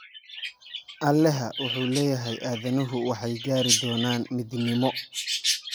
alexa wuxuu leeyahay aadanuhu waxay gaari doonaan midnimo